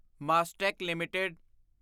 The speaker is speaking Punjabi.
ਮਾਸਟੇਕ ਲਿਮਟਿਡ